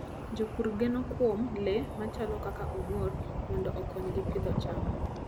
Jopur geno kuom le machalo kaka ong'or mondo okonygi pidho cham.